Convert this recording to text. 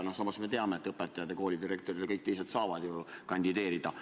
Samas me teame, et õpetajad ja koolidirektorid ja kõik teised saavad kandideerida.